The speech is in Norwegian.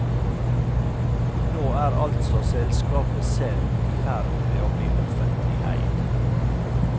Nå er altså selskapet selv i ferd med å bli offentlig eid.